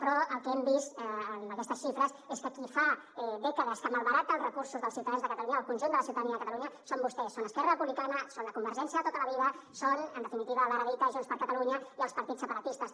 però el que hem vist amb aquestes xifres és que qui fa dècades que malbarata els recursos dels ciutadans de catalunya del conjunt de la ciutadania de catalunya són vostès són esquerra republicana són la convergència de tota la vida són en definitiva l’ara dita junts per catalunya i els partits separatistes